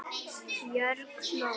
Björg hló.